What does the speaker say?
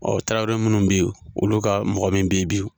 Ɔn tarawele munnu be yen ,olu ka mɔgɔ min be yen bi .